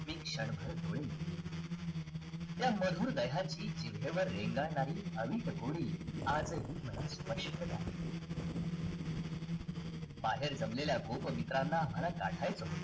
मी क्षणभर डोळे मिटले त्या मधुर दह्याची जिभेवर रेंगाळणारी अवीट गोडी आजही मला स्पष्ट आठवते बाहेर जमलेल्या गोप मित्रांना मला गाठायच होत